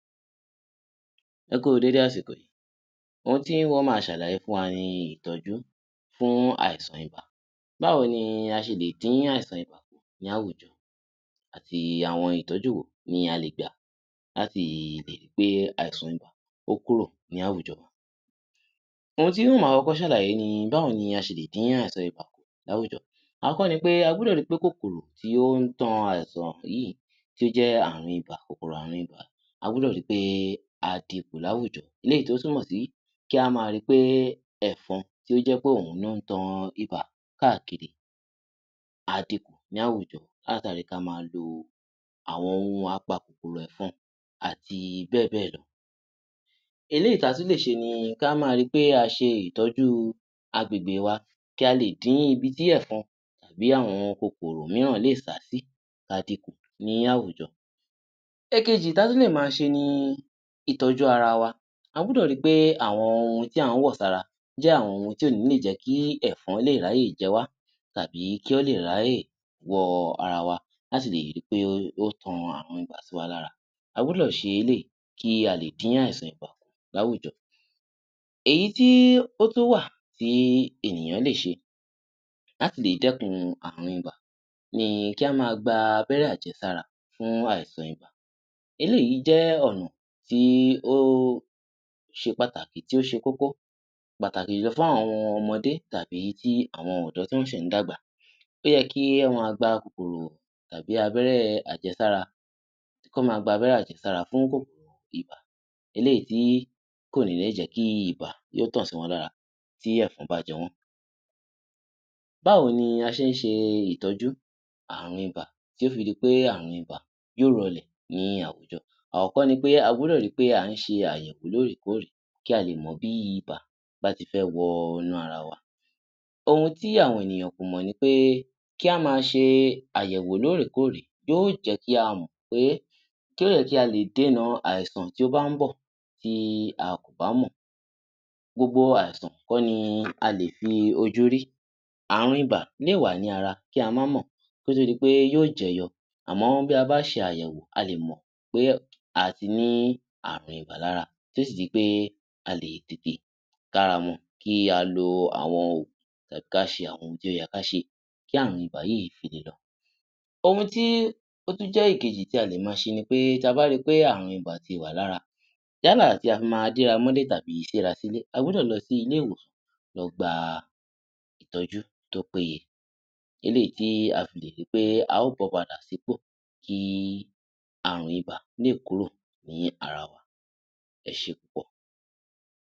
Ẹ kú u dédé àsìkò yìí. Ohun tí n ó máa ṣàlàyé fún wa ni ìtọ́jú fún àìsàn ibà. Báwo ni a ṣe lè dín àìsàn ibà kù ní àwùjọ? Àti àwọn ìtọ́jú wo ni a lè gbà láti lè ri pé àìsàn ibà ó kúrò ní àwùjọ wa? Ohun tí n ó máa kọ́kọ́ ṣàlàyé ni báwo ni a ṣe lè dín àìsàn ibà kù láwùjọ? Àkọ́kọ́ ni pé a gbúdọ̀ ri pé kòkòrò tí ó ń tan àìsàn yìí tó jẹ́ ààrùn ibà, kòkòrò ààrùn ibà, a gbúdọ̀ ri pé a dinkù láwùjọ. Eléyìí tí ó túnmọ̀ sí kí a máa ri pé ẹ̀fọn tí ó jẹ́ pé òun ló ń tan ibà káàkiri, a dinkù ní àwùjọ látàri kí a máa lo àwọn ohun apakòkòrò ẹ̀fọn àti bẹ́ẹ̀ bẹ́ẹ̀ lọ. Eléyìí tí a tún lè ṣe ni kí a máa ri pé a ṣe ìtọ́jú agbègbè wa, kí a lè dín ibi tí ẹ̀fọn tàbí àwọn kòkòrò mìíràn lè sá sí, ka dinkù ní àwùjọ. Ẹ̀kejì tí a tún lè máa ṣe ni ìtọ́jú ara wa. A gbúdọ̀ ri pé àwọn ohun tí à ń wọ sára jẹ́ àwọn ohun tí ò ní lè jẹ́ kí ẹ̀fọn lè ráyè jẹ wá tàbí kí ó lè ráyè wọ ara wa láti lè ri pé ó ó tan ààrùn ibà sí wa lára. A gbọ́dọ̀ ṣe eléyìí kí a lè dín àìsàn ibà kù láwùjọ. Èyí tí ó tún wà tí ènìyàn lè ṣe láti lè dẹ́kun ààrùn ibà ni kí a máa gba abẹ́rẹ́-àjẹsára fún àìsàn ibà. Eléyìí jẹ́ ọ̀nà tí ó ṣe pàtàkì, tí ó ṣe kókó, pàtàkì jùlọ fún àwọn ọmọdé tàbí ti àwọn ọ̀dọ́ tí wọ́n ṣẹ̀ ń dàgbà. Ó yẹ kí wọ́n máa gba kòkòrò tàbí abẹ́rẹ́-àjẹsára, kí wọ́n máa gbabẹ́rẹ́ àjẹsára fún kòkòrò ibà, eléyìí tí kò ní lè jẹ́ kí ibà yóó tàn sí wọn lára tí ẹ̀fọn bá jẹ wọ́n. Báwo ni a ṣe ń ṣe ìtọ́jú ààrùn ibà tí ó fi di pé ààrùn ibà yóò rọlẹ̀ ní àwùjọ. Àkọ́kọ́ ni pé a gbúdọ̀ ri pé à ń ṣe àyẹ̀wò lóòrèkóòrè kí a lè mọ̀ bí ibà bá ti fẹ́ wọ inú ara wa. Ohun tí àwọn ènìyàn kò mọ̀ ni pé kí a máa ṣe àyẹ̀wò lóòrèkóòrè yóó jẹ́ kí a mọ̀ pé kẹ́rẹ̀ kí a lè déna àìsàn tí ó bá ń bọ̀ tí a kò bá mọ. Gbogbo àìsàn kọ́ ni a lè fi ojú rí, ààrùn ibà lè wà ní ara kí a má mọ̀, kí ó tó di pé yóó jẹyọ. Àmọ́ bí a bá ṣe àyẹ̀wò, a lè mọ̀ pé a ti ní ààrùn ibà lára, tí ó sì di pé a lè tètè káramọ, kí a lo àwọn òògùn tàbí ká ṣe àwọn ohun tí ó yẹ ká ṣe, kí ààrùn ibà yìí fi lè lọ. Ohun tí ó tún jẹ́ ìkejì tí a lè máa ṣe ni pé tí a bá ri pé ààrùn ibà ti wà lára, yálà tí a fi máa déra mọ́lé tàbí séra sílé, a gbọ́dọ̀ lọ sí ilé-ìwòsàn lọ gba ìtọ́jú tó péye, eléyìí tí a fi lè ri pé a ó bọ́ padà sípò kí ààrùn ibà lè kúrò ní ara wa. Ẹ ṣé púpọ̀!